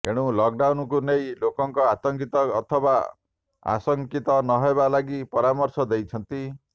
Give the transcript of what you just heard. ଏଣୁ ଲକଡାଉନ୍କୁ ନେଇ ଲୋକଙ୍କୁ ଆତଙ୍କିତ ଅଥବା ଆଶଙ୍କିତ ନ ହେବା ଲାଗି ପରାମର୍ଶ ଦେଇଛନ୍ତି